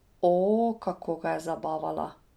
O, kako ga je zabavala!